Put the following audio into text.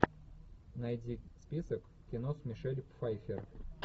найди список кино с мишель пфайффер